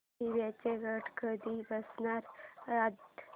देवींचे घट कधी बसणार यंदा